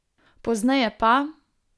Pozneje pa ...